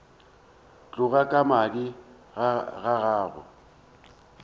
tloga ka madi ga go